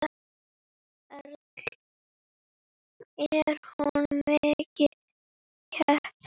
Erla: Er hún mikið keypt?